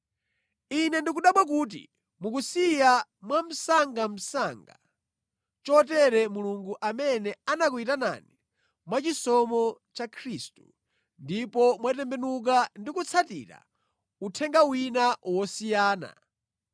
Ine ndikudabwa kuti mukusiya mwamsangamsanga chotere Mulungu amene anakuyitanani mwachisomo cha Khristu ndipo mwatembenuka ndi kutsatira uthenga wina wosiyana,